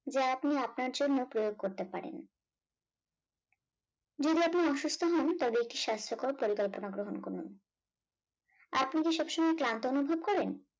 যা আপনি আপনার জন্য প্রয়োগ করতে পারেন যদি আপনি অসুস্থ হন তাহলে একটি স্বাস্থ্যকর পরিকল্পনা গ্রহণ করুন আপনি কি সব সময় ক্লান্ত অনুভব করেন